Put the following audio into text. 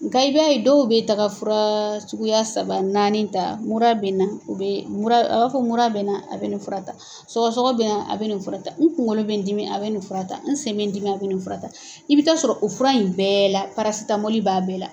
Nga i b'a ye dɔw bɛ taga fura suguya saba naani ta mura bɛ n na u bɛ mura a b'a fɔ mura bɛ n na a bɛ nin fura ta sɔgɔ sɔgɔ bɛna a bɛ nin fura ta n kunkolo bɛ n dimi a bɛ nin fura ta n sen mɛ n dimi a bɛ nin fura ta i bɛ taa sɔrɔ o fura in bɛɛ la parasitamɔli b'a bɛɛ la.